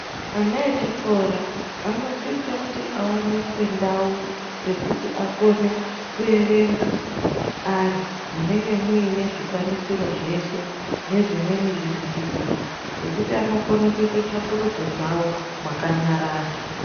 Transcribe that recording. Ana echikora anosisa kuti aoneswe ndau dzekuti akone kuerenga ari munenge muine zvikwanisiro zveshe nezvimweni zvivhitivhiti zvekuti anokone kuite tsvakurudzo dzavo makanyarara.